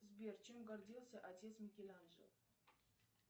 сбер чем гордился отец микеланджело